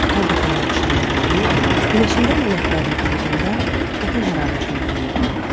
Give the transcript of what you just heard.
Hər dəfə yağışında yuyunub, günəşində lələklərini qurudanda vətən hərarətini duyurdu.